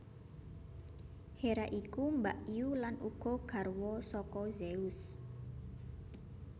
Hera iku mbakyu lan uga garwa saka Zeus